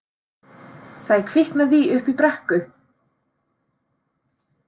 Það er kviknað í uppi í brekku!